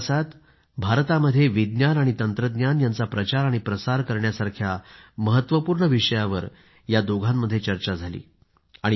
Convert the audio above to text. या प्रवासात भारतामध्ये विज्ञान आणि तंत्रज्ञान यांचा प्रचार आणि प्रसार करण्यासारख्या महत्वपूर्ण विषयावर या दोघांमध्ये चर्चा झाली होती